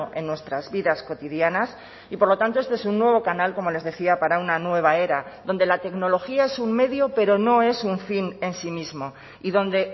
en nuestras vidas cotidianas y por lo tanto este es un nuevo canal como les decía para una nueva era donde la tecnología es un medio pero no es un fin en sí mismo y donde